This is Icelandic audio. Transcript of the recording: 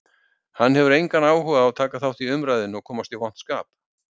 Hann hefur engan áhuga á að taka þátt í umræðunni og komast í vont skap.